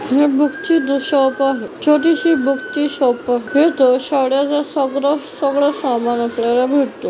हे बूक ची जे शॉप आहे छोटीशी बूक ची शॉप इथ शाळेच सगळ सगळ सामान आपल्याला भेटते.